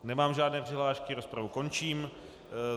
Nemám žádné přihlášky, rozpravu končím.